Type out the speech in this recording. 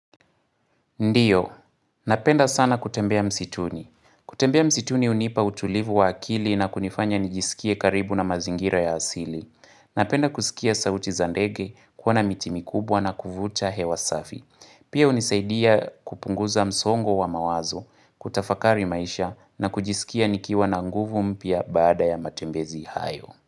Ndiyo. Napenda sana kutembea msituni. Kutembea msituni hunipa utulivu wa akili na kunifanya nijisikie karibu na mazingira ya asili. Napenda kusikia sauti za ndege kuona miti mikubwa na kuvuta hewa safi. Pia unisaidia kupunguza msongo wa mawazo, kutafakari maisha na kujisikia nikiwa na nguvu mpya bada ya matembezi hayo.